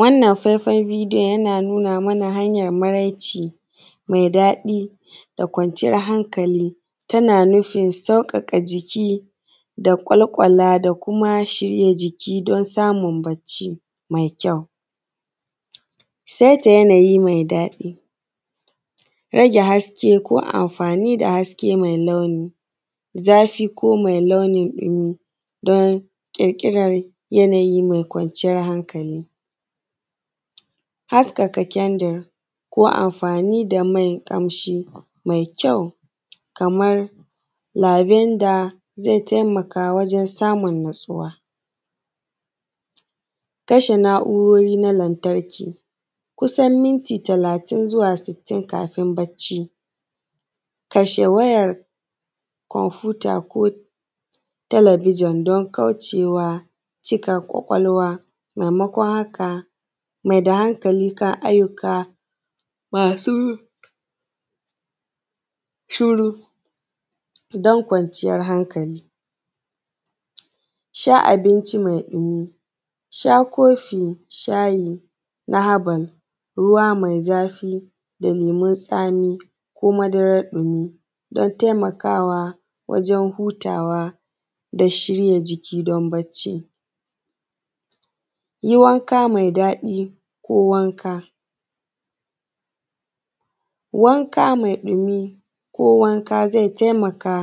Wannan faifan bidiyon yana nuna mana hanyan maraici mai daɗi da kwanciyan hankali tana nufin sauƙaƙa jiki da ƙwal ƙwala da kuma shirya jiki don samun bacci mai kyau. Saita yanayi mai daɗi, rage haske ko amfani da haske mai launi, zafi ko mai launin mu don ƙirƙiran yanayi mai kwanciyan hankali, haskaka kendir ko amfani da mai ƙamshi mai kyau kaman labenda zai taimaka wajen samun natsuwa. Kashe na’urori na lantarki kusan minti talatin zuwa sittin kafin bacci, kashe wayar komputa ko talabijin don kauce wa cika ƙwaƙwalwa. Maimakon haka mai da hankali kan ayyuka masu shuru don kwanciyan hankali. Sha abinci mai ɗumi sha kofi na habal, ruwa mai zafi da lemun tsami ko madarar ɗumi don taimaka wa wajan hutawa da shirya jiki don bacci. Yi wanka mai daɗi, ko wanka, wanka mai ɗumi ko wanka zai taimaka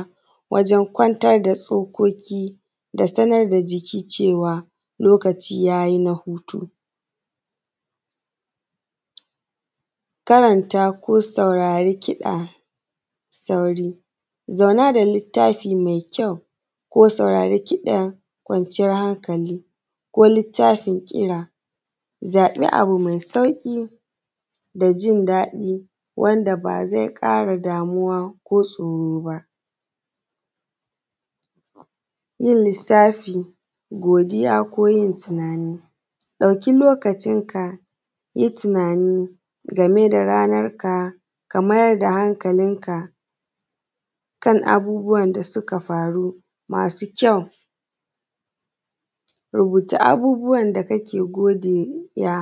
wajan kwantar da tsokoki da sanar da jiki cewa lokaci yayi na hutu. karanta ko saurari kiɗa, sauri zauna da littafi mai ko saurari kiɗan kwanciyan hankali ko littafin ƙira zaɓi abu mai sauƙi da jindaɗi wanda ba zai ƙara damuwa ko tsoro ba. zai yi lissafi, godiya ko tunani ɗauki lokacin ka, yi tunani game ranar ka, ka mayar da hankalin ka kan abubuwan da suka faru masu kyau, rubuta abubuwan da kake godiya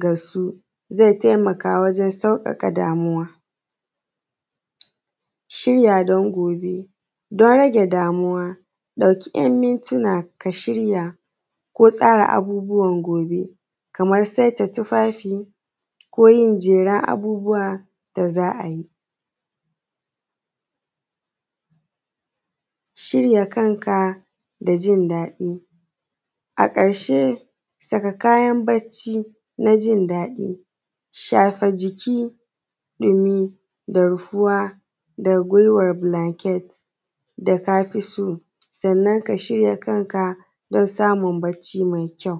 ga su zai taimaka wajan sauƙaƙa damuwa. Shirya don gobe don rage damuwa ɗauki ɗan mintina ka shirya ko tsara abubuwan gobe kamar saita tufafi ko yin jeran abubuwa da za a yi. Shirya kanka da jindaɗi a ƙarshe saka kayan bacci na jindaɗi, shafa jiki dumi da ruwa da guiwar blanket da ka fi so domin ka shirya kanka don samun bacci mai kyau.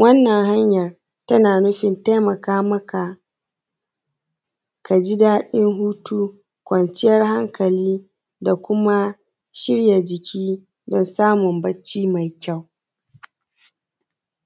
Wannan hanyar tana nufin taimaka maka ka ji daɗin hutu kwanciyan hankali da kuma shirya jiki don samun bacci mai kyau.